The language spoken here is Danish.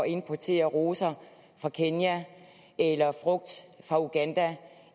importerer roser fra kenya eller frugt fra uganda